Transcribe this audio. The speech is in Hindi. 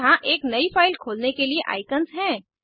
यहाँ एक नयी फाइल खोलने के लिए आईकन्स हैं